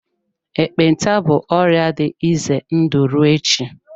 ekpenta bụ ọrịa dị ize ndụ ruo echi.